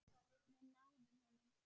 Við náðum honum.